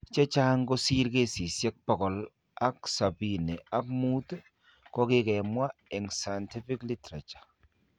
Chechang' kosir kesisiek bogol ak sobini ak muut kokikemwa eng' scientific literature